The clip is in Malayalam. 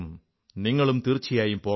നിങ്ങളും തീർച്ചയായും പോകണം